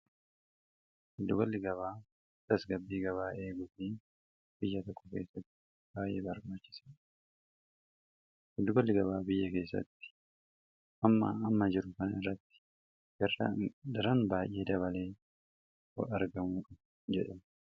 asgabbii gabaa'ee gutnii bguddugalli gabaa biyya keessatti amma amma jiru kan irratti garran baay'ee dabalee argamuudha jedhe